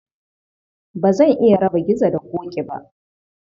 Ba zan iya raba Gizo da Ƙoƙi ba